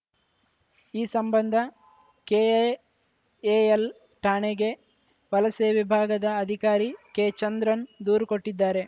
ಈ ಸಂಬಂಧ ಕೆಐಎಎಲ್‌ ಠಾಣೆಗೆ ವಲಸೆ ವಿಭಾಗದ ಅಧಿಕಾರಿ ಕೆಚಂದ್ರನ್‌ ದೂರು ಕೊಟ್ಟಿದ್ದಾರೆ